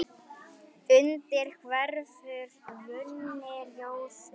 undir hverfur runni, rjóður